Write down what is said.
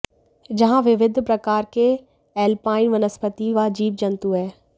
जहां विविध प्रकार के एल्पाइन वनस्पति व जीव जन्तु हैं